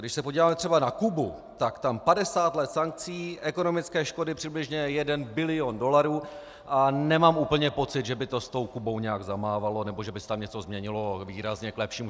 Když se podíváme třeba na Kubu, tak tam 50 let sankcí, ekonomické škody přibližně jeden bilion dolarů a nemám úplně pocit, že by to s tou Kubou nějak zamávalo nebo že by se tam něco změnilo výrazně k lepšímu.